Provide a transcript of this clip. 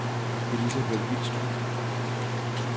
Elizabeth Vilstrup